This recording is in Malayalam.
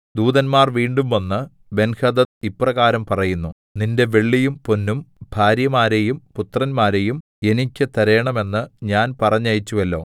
ദൂതന്മാർ വീണ്ടും വന്നു ബെൻഹദദ് ഇപ്രകാരം പറയുന്നു നിന്റെ വെള്ളിയും പൊന്നും ഭാര്യമാരെയും പുത്രന്മാരെയും എനിക്ക് തരേണമെന്ന് ഞാൻ പറഞ്ഞയച്ചുവല്ലോ